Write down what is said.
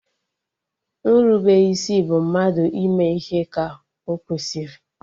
Nrubeisi bụ mmadụ ịme ihe ka ọkwesịrị